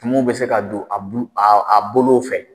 Tumuw bɛ se ka don a bulu a bolow fɛ